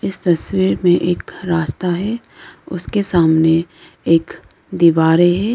इस तस्वीर में एक रास्ता है उसके सामने एक दीवारें है।